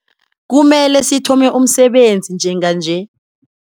Kumele sithome umsebenzi njenganje.